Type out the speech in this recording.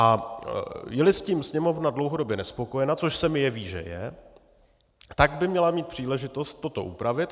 A je-li s tím Sněmovna dlouhodobě nespokojena, což se mi jeví, že je, tak by měla mít příležitost toto upravit.